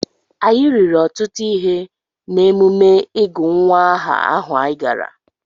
Anyị riri ọtụtụ ihe n’emume ịgụ nwa aha ahụ anyị gara.